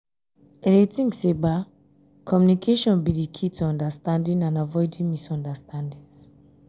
i dey think say communication be di key to understanding and avoiding misunderstandings.